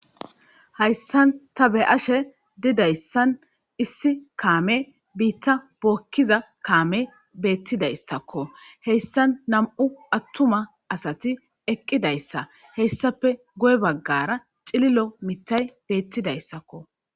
Hayssan ta be ashe didayssan issi kaame biitta bookkiza kaame beettidayssakko heyssan nam'u attuma asati eqqidayssa heyssape goy baggara xililo mittay beettidayssakko.